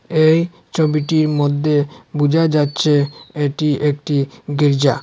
এই ছবিটির মধ্যে বুঝা যাচ্ছে এটি একটি গির্জা।